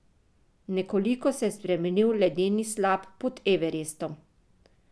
Nekoliko se je spremenil Ledeni slap pod Everestom.